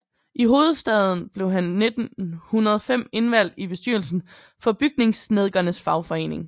I hovedstaden blev han 1905 indvalgt i bestyrelsen for Bygningssnedkernes Fagforening